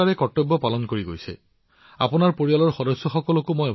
আপুনি নিজৰো যত্ন লওক আপোনাৰ পৰিয়াললৈও মোৰ শুভেচ্ছা থাকিল